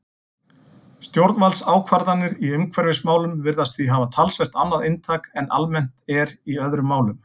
Stjórnvaldsákvarðanir í umhverfismálum virðast því hafa talsvert annað inntak en almennt er í öðrum málum.